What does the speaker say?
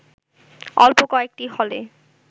অল্প কয়েকটি হলে